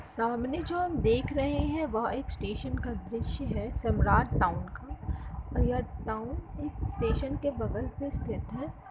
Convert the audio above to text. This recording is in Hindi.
सामने जो हम देख रहे हैं। वह एक स्टेशन का दृश्य है। सम्राट टाउन का और यह टाउन एक स्टेशन के बगल पे स्थित है।